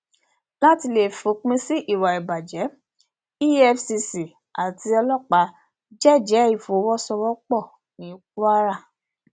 láti lè fòpin sí ìwà ìbàjẹ efcc àti ọlọpàá jẹẹjẹ ìfọwọsowọpọ ní kwara